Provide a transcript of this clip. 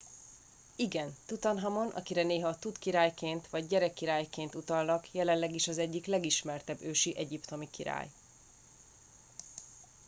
igen! tutanhamon akire néha tut király”-ként vagy gyerekkirály”-ként utalnak jelenleg is az egyik legismertebb ősi egyiptomi király